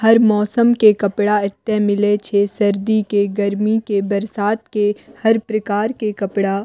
हर मौसम के कपड़ा एत्ते मिले छे सर्दी के गर्मी के बरसात के हर प्रकार के कपड़ा।